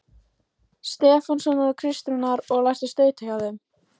Stefánssonar og Kristrúnar, og lært að stauta hjá þeim.